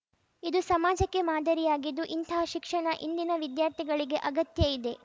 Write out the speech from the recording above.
ಇದು ಸಮಾಜಕ್ಕೆ ಮಾದರಿಯಾಗಿದ್ದು ಇಂತಹ ಶಿಕ್ಷಣ ಇಂದಿನ ವಿದ್ಯಾರ್ಥಿಗಳಿಗೆ ಅಗತ್ಯ ಇದೆ